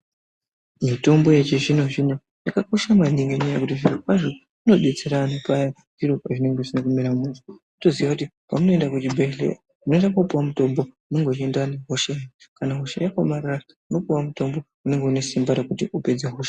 Mitombo yechizvino-zvino yakakosha maningi nenyaya yekuti zvirokwazvo inodetsera vanhu paya zviro pazvinenge zvisina kumira mushe kutoziya kuti paya pamunoenda kuchibhehleya munoenda kopuwa mutombo unenge uchienderana nehosha yenyu kana hosha yakaomarara munopuwawo mutombo unenge une simba rekuti upedze hosha